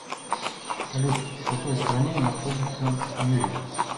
салют в какой стране находится юрьев